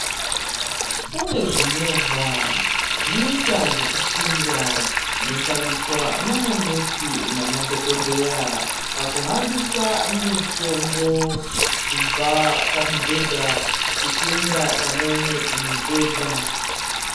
Kune zvimovha zvinoitwa zvekusundwa zvinoshandiswa namanesi madhokodheya pakuhambisa mitombo kubva pamubhedha uchienda kubva pamubhedha.